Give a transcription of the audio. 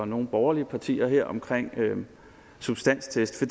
nogle borgerlige partier her omkring substanstest af